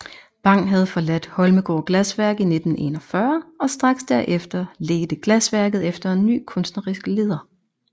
Bang havde forladt Holmegaard Glasværk i 1941 og straks derefter ledte glasværket efter en ny kunstnerisk leder